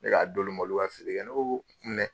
Ne k'a d'ulu ma ulu ka feere kɛ ne ko ko dɛ.